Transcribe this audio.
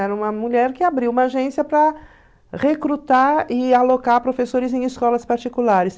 Era uma mulher que abriu uma agência para recrutar e alocar professores em escolas particulares.